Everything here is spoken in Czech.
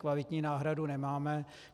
Kvalitní náhradu nemáme.